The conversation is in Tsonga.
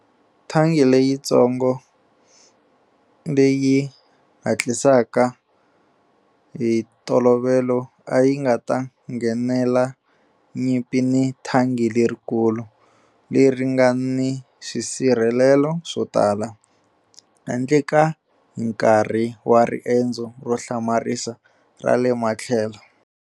Thanki leyitsongo, leyi hatlisaka hi ntolovelo a yi nga ta nghenela nyimpi ni thangi lerikulu, leri nga ni swisirhelelo swo tala, handle ka hi nkarhi wa riendzo ro hlamarisa ra le matlhelo.